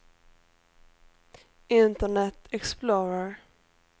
internet explorer